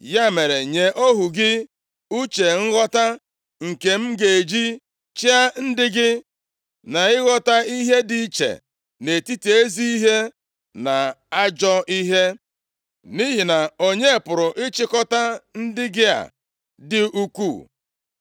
Ya mere, nye ohu gị uche nghọta nke m ga-eji chịa ndị gị, na ịghọta ihe dị iche nʼetiti ezi ihe na ajọ ihe. Nʼihi na onye pụrụ ịchịkọta ndị gị a dị ukwuu?”